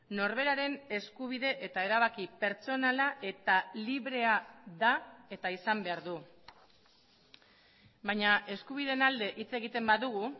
norberaren eskubide eta erabaki pertsonala eta librea da eta izan behar du baina eskubideen alde hitz egiten badugu